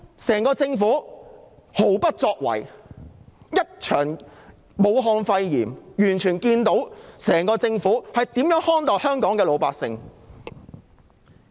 整個政府毫不作為，一場武漢肺炎便看清它如何看待香港的老百姓。